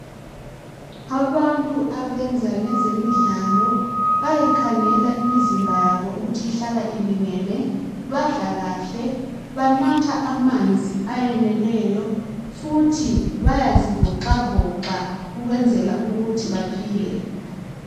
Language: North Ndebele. Abantu abenza ngezemidlalo, bayayikhangela imizimba yabo ukuthi ihlala ilingene. Badla kahle, banatha amanzi ayeneleyo, futhi bayazivoxavoxa, ukwenzela ukuthi baphile.